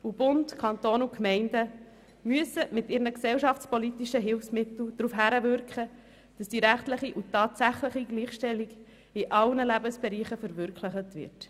Bund, Kantone und Gemeinden müssen daher mit ihren gesellschaftspolitischen Hilfsmitteln darauf hinwirken, dass die rechtliche und tatsächliche Gleichstellung in allen Lebensbereichen verwirklicht wird.